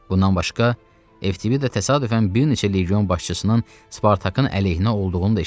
Bundan başqa Eftibida təsadüfən bir neçə legion başçısının Spartakın əleyhinə olduğunu da eşitdi.